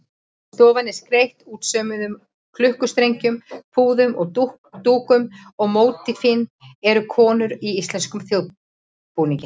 Stofan er skreytt útsaumuðum klukkustrengjum, púðum og dúkum og mótífin eru konur í íslenskum þjóðbúningi.